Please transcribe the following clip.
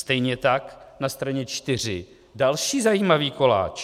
Stejně tak, na straně 4 - další zajímavý koláč.